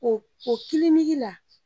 Ko o la